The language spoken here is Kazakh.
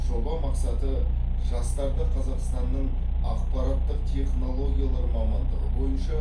жоба мақсаты жастарды қазақстанның ақпараттық технологиялар мамандығы бойынша